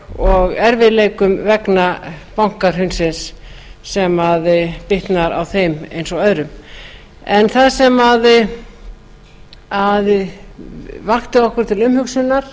og erfiðleikum vegna bankahrunsins sem bitnar á þeim eins og öðrum en það sem vakti okkur til umhugsunar